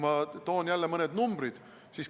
Ma toon jälle mõned numbrid.